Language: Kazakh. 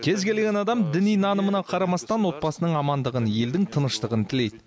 кез келген адам діни нанымына қарамастан отбасының амандығын елдің тыныштығын тілейді